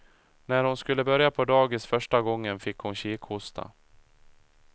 När hon skulle börja på dagis första gången fick hon kikhosta.